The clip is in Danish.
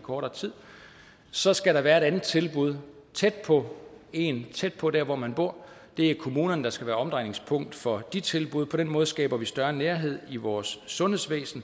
kortere tid så skal der være et andet tilbud tæt på en tæt på dér hvor man bor og det er kommunerne der skal være omdrejningspunkt for de tilbud på den måde skaber vi større nærhed i vores sundhedsvæsen